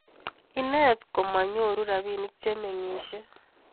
inet ko manyoru rabinik che mengishe